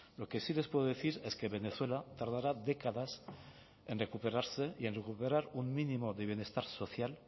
lo que sí les puedo decir es que venezuela tardará décadas en recuperarse y en recuperar un mínimo de bienestar social